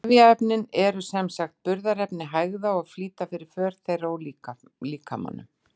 Trefjaefnin eru sem sagt burðarefni hægða og flýta fyrir för þeirra úr líkamanum.